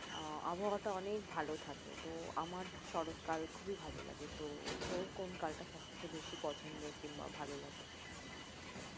আহ আবহাওয়াটা অনেক ভাল থাকে তো আমার শরত কাল খুবি ভালো লাগে তো তোর কোন কালটা সবথেকে বেশি পছন্দের কিংবা ভাল লাগে